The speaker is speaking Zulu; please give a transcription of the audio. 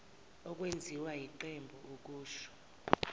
okwenziwe yiqembu akusho